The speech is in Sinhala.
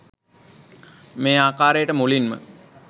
මේ ආකාරයට මුලින්ම